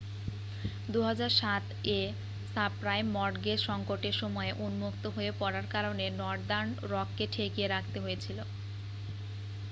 2007-এ subprime mortgage সঙ্কটের সময়ে উন্মুক্ত হয়ে পড়ার কারণে নর্দার্ন রককে ঠেকিয়ে রাখতে হয়েছিল